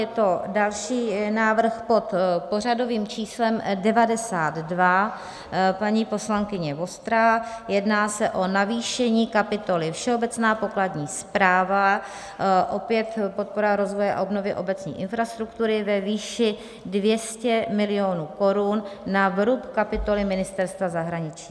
Je to další návrh, pod pořadovým číslem 92, paní poslankyně Vostrá, jedná se o navýšení kapitoly Všeobecná pokladní správa, opět podpora rozvoje a obnovy obecní infrastruktury, ve výši 200 milionů korun na vrub kapitoly Ministerstva zahraničí.